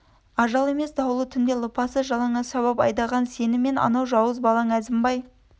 ажал емес дауылды түнде лыпасыз жалаңаш сабап айдаған сені мен анау жауыз балаң әзімбай